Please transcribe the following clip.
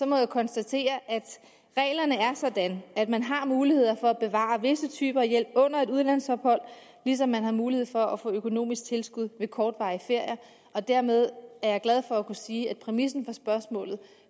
må jeg konstatere at reglerne er sådan at man har mulighed for at bevare visse typer af hjælp under et udlandsophold ligesom man har mulighed for at få økonomisk tilskud ved kortvarig ferie og dermed er jeg glad for at kunne sige at præmissen for spørgsmålet